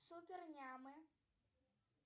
супер нямы